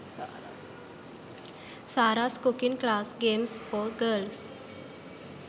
saras cooking class games for girls